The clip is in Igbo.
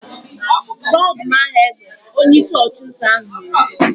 "Gbaa ọdụm ahụ egbe!' Onyeisi ọchụnta ahụ na-ekwu.